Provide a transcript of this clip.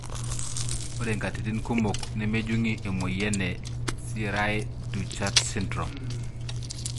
Ore nkatitin kumok nemejungi emoyian e cri du chat syndrome.